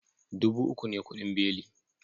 Dubu uku ne kudin beli